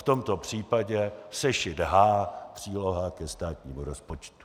V tomto případě sešit H, příloha ke státnímu rozpočtu.